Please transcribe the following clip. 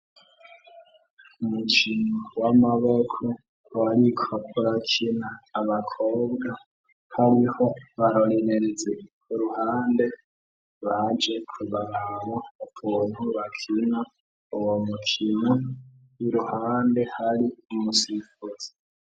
Umukino w'amaboko barikobarakina abakobwa hariho barorerezi ku ruhande baje kubaraba ukuntu bakina uwo mukino w'iruhande hari imusifuzi.